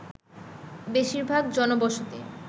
বেশিরভাগ জনবসতি